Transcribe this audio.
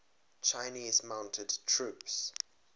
chinese mounted troops